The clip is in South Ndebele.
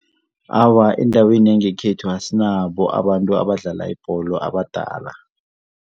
Awa, endaweni yangekhethu asinabo abantu abadlala ibholo abadala.